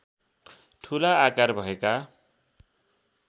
ठुला आकार भएका